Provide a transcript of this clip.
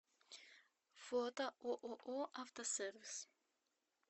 фото ооо автосервис